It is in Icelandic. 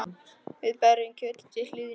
Við berjum kjötið til hlýðni.